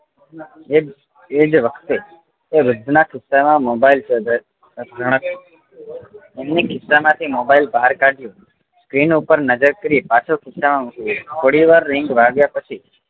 એજ વખતે એ વૃદ્ધ નાં ખિસ્સા માં મોબાઈલ એમણે ખિસ્સા માંથી mobile બહાર કાઢ્યો screen ઉપર નજર ફેરવી પાછો ખિસ્સા માં મૂકી દીધો થોડી વા ring વાગ્યા પછી